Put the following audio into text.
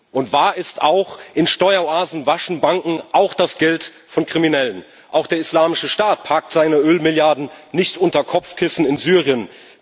Und wahr ist auch In Steueroasen waschen Banken auch das Geld von Kriminellen. Auch der Islamische Staat parkt seine Öl Milliarden nicht unter Kopfkissen in Syrien.